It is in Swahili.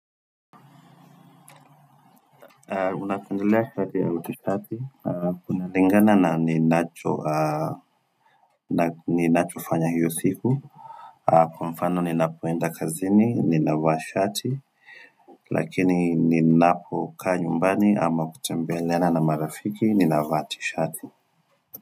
Unapendelea shati au tishati Kunalingana na ninacho ninachofanya hiyo siku Kwa mfano ninapoenda kazini ninavaa shati Lakini ninapokaa nyumbani ama kutembeleana na marafiki ninavaa tishati.